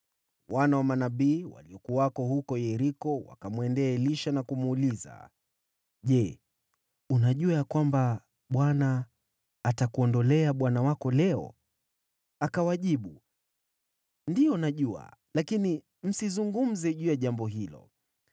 Wana wa manabii waliokuwako huko Yeriko wakamwendea Elisha na kumuuliza, “Je, unajua ya kwamba Bwana atakuondolea bwana wako leo?” Akawajibu, “Ndiyo, najua, lakini msizungumze juu ya jambo hilo.”